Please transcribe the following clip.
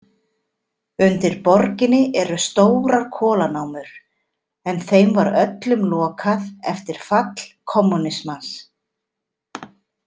Undir borginni eru stórar kolanámur en þeim var öllum lokað eftir fall kommúnismans.